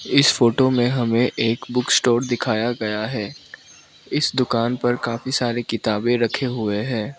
इस फोटो में हमें एक बुक स्टोर दिखाया गया है इस दुकान पर काफी सारी किताबें रखें हुए हैं।